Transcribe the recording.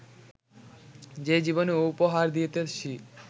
যে জীবনী উপহার দিতেছি